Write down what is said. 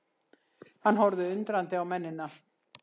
Hann horfði undrandi á mennina.